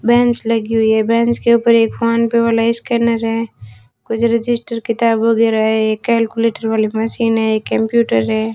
Bench लगी हुई है बेंच के ऊपर एक फोन पे वाला स्कैनर है कुछ रजिस्टर किताब वगैरह है कैलकुलेटर वाली मशीन है कंप्यूटर है।